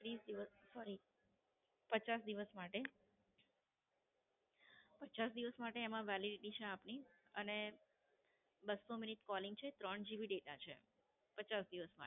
ત્રીસ દિવસ સોરી પચાસ દિવસ માટે. પચાસ દિવસ માટે એમાં Validity છે આપની અને બસો મિનિટ Calling છે ત્રણ GB data છે પચાસ દિવસ માટે.